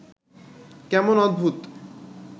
কেমন অদ্ভুত